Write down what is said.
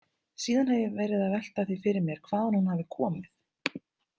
Síðan hef ég verið að velta því fyrir mér hvaðan hún hafi komið.